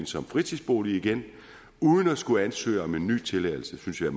som fritidsbolig igen uden at skulle ansøge om en ny tilladelse det synes jeg